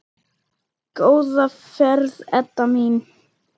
Góða ferð, Edda mín.